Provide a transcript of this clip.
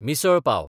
misal pav